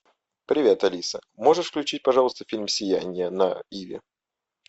привет алиса можешь включить пожалуйста фильм сияние на иви